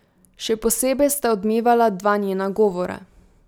Še posebej sta odmevala dva njena govora.